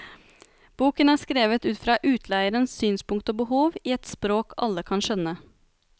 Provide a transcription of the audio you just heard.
Boken er skrevet ut fra utleierens synspunkt og behov i et språk alle kan skjønne.